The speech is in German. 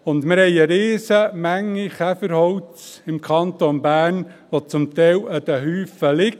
Und wir haben im Kanton Bern eine riesige Menge Käferholz, das zum Teil in Haufen liegt.